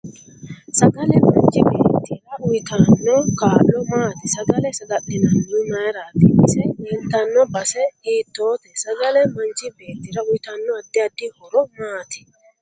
Sagale machi beetira uyiotanno kaa'lo maati sagale sagali'nanihu mayiirati ise leeltanno base hiitoote sagale manchi bewtira uyiitanno addi addi horo maati